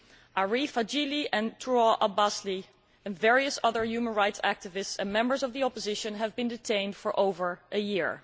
Arif Hajili and Tural Abbasli and various other human rights activists and members of the opposition have been detained for over a year.